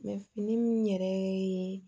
fini min yɛrɛ ye